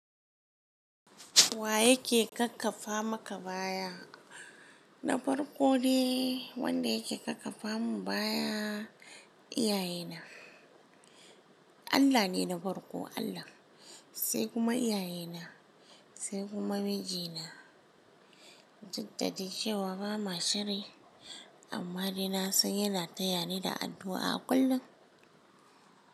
Wa yake kakkafa maka baya? Na farko ne wanda yake kakkafa mun baya iyaye na. Allah ne na farko Allah, sai kuma iyaye na, sai kuma mijina. Duk da dai cewar ba ma shiri amma dai na sai yana tayani da addu'a kullum.